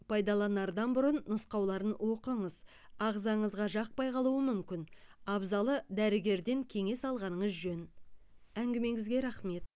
пайдаланардан бұрын нұсқауларын оқыңыз ағзаңызға жақпай қалуы мүмкін абзалы дәрігерден кеңес алғаныңыз жөн әңгімеңізге рахмет